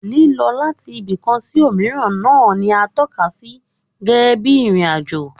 Lílọ láti ibìkan sí òmíràn náà ni à ń tọ́ka sí gẹ́gẹ́ bí ìrìn-àjò